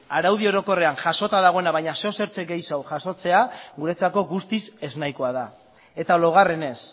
araudi orokorrean jasota dagoena baina zeozertxo gehiago jasotzea guretzako guztiz ez nahikoa da eta laugarrenez